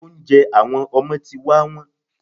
Oúnjẹ àwọn ọmọ ti wá wón.